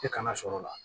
E kana sɔrɔ o la